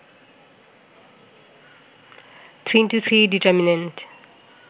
3x3 determinant